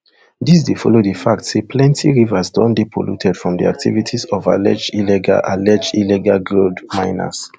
dis dey follow di fact say plenti rivers don dey polluted from di activities of alleged illegal alleged illegal gold miners